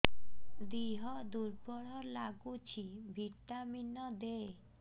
ଦିହ ଦୁର୍ବଳ ଲାଗୁଛି ଭିଟାମିନ ଦେ